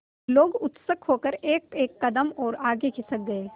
लोग उत्सुक होकर एकएक कदम और आगे खिसक गए